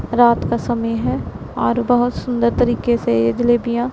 रात का समय है और बहोत सुंदर तरीके से येजलेबिया--